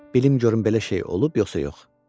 Bilm görüm belə şey olub, yoxsa yox?